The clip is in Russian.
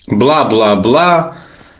бла бла бла